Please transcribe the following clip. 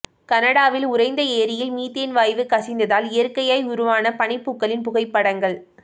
கனடாவில் உறைந்த ஏரியில் மீத்தேன் வாயு கசிந்ததால் இயற்கையாய் உருவான பனிப்பூக்களின் புகைப்படங்கள்